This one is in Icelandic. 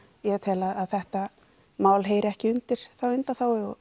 ég tel að þetta mál heyri ekki undir þá undanþágu og